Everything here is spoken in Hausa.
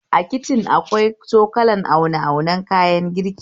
A kicin akwai cokulan aune aunen kayan girki